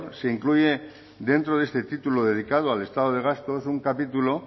se incluye dentro de este título dedicado al estado de gastos un capítulo